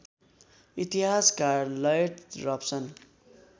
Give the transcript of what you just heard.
इतिहासकार Lloyd Raphson